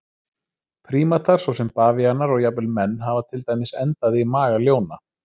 Prímatar svo sem bavíanar og jafnvel menn hafa til dæmis endað í maga ljóna.